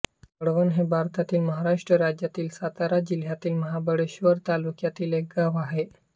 वळवण हे भारतातील महाराष्ट्र राज्यातील सातारा जिल्ह्यातील महाबळेश्वर तालुक्यातील एक गाव आहे